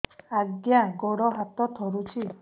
ଆଜ୍ଞା ଗୋଡ଼ ହାତ ଥରୁଛି